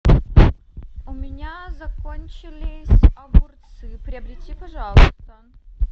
у меня закончились огурцы приобрети пожалуйста